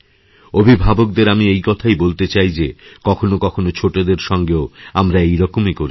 অভিভাবকদের আমি এই কথাই বলতে চাই যে কখনো কখনো ছোটদের সঙ্গেও আমরা এইরকমই করেথাকি